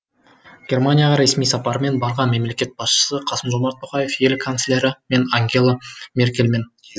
германияға ресми сапармен барған мемлекет басшысы қасым жомарт тоқаев ел канцлері пен ангела меркельмен кездесті